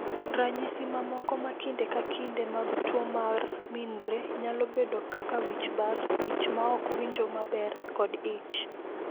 "Ranyisi mamoko ma kinde ka kinde mag tuo mar Mnire nyalo bedo kaka wich bar, ich ma ok winjo maber, kod ich."